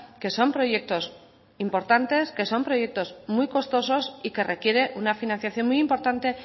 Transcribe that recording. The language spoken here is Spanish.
que son proyectos importantes que son proyectos muy costosos y que requiere un financiación muy importante